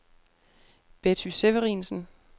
Betty Severinsen